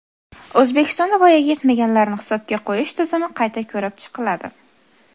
O‘zbekistonda voyaga yetmaganlarni hisobga qo‘yish tizimi qayta ko‘rib chiqiladi.